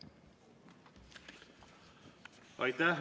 Aitäh!